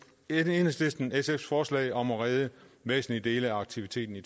enhedslisten sfs forslag om at redde væsentlige dele af aktiviteten i